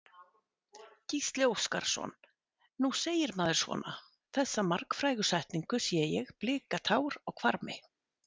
Gísli Óskarsson: Nú segir maður svona, þessa margfrægu setningu, sé ég blika tár á hvarmi?